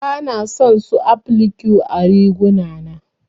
Bana son su applique ã riguna na.